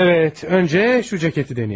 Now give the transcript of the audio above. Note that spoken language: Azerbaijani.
Bəli, əvvəl bu jaketi yoxlayaq.